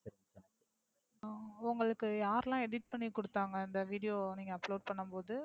உங்களுக்கு யாரு எல்லாம் edit பண்ணிகுடுத்தாங்க அந்த video நீங்க upload பண்ணும்போது?